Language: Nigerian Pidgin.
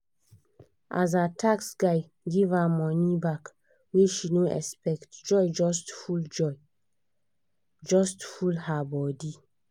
as her tax guy give her money back wey she no expect joy just full joy just full her body